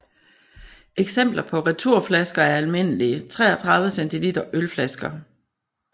Eksempler på returflasker er almindelige 33 cl ølflasker